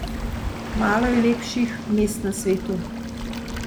Malo je lepših mest na svetu.